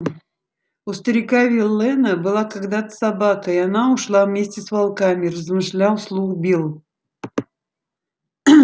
у старика виллэна была когда-то собака и она ушла вместе с волками размышлял вслух билл